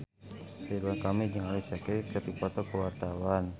Ridwan Kamil jeung Alicia Keys keur dipoto ku wartawan